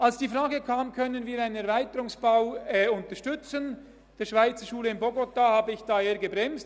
Als die Frage kam, ob wir einen Erweiterungsbau der Schweizerschule in Bogotá unterstützen können, habe ich eher gebremst.